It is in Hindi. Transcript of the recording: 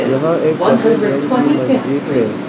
यहां एक सफेद रंग की मस्जिद है।